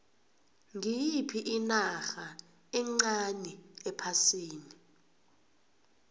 ngiyiphi inarha encani ephasini